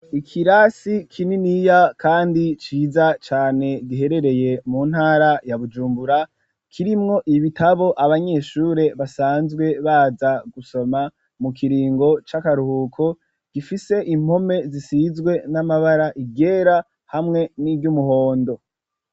Ikirasi kininiya kandi ciza cane giherereye mu ntara ya Bujumbura kirimwo ibitabo abanyeshure basanzwe baza gusoma mu kiringo c'akaruhuko gifise impome zisizwe n'amabara iryera hamwe n'iry'umuhondo.